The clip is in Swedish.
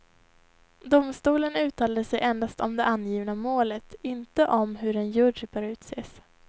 Domstolen uttalade sig endast om det angivna målet, inte om hur en jury bör utses.